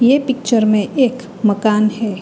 ये पिक्चर में एक मकान है।